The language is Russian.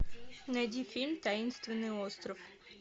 найди фильм таинственный остров